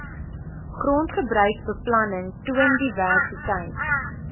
grondgebruikbeplanning toon diversiteit